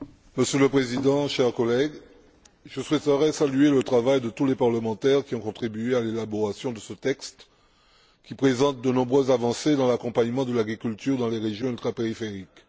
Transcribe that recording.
Monsieur le Président, chers collègues, je souhaiterais saluer le travail de tous les parlementaires qui ont contribué à l'élaboration de ce texte, qui présente de nombreuses avancées dans l'accompagnement de l'agriculture dans les régions ultrapériphériques.